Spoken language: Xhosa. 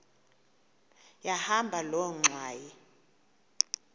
yahamba loo ngxwayi